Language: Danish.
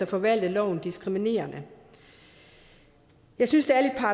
forvalte loven diskriminerende jeg synes det